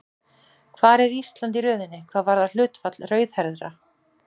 Hvar er Ísland í röðinni hvað varðar hlutfall rauðhærðra?